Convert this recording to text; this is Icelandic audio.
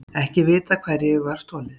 Ekki vitað hverju var stolið